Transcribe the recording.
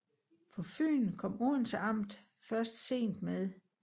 På Fyn kom Odense amt først sent med